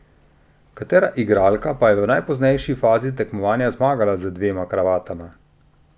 Katera igralka pa je v najpoznejši fazi tekmovanja zmagala z dvema kravatama?